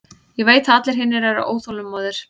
Ég veit að allir hinir eru óþolinmóðir.